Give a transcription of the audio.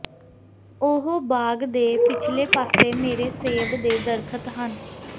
ਉਹ ਬਾਗ ਦੇ ਪਿਛਲੇ ਪਾਸੇ ਮੇਰੇ ਸੇਬ ਦੇ ਦਰੱਖਤ ਹਨ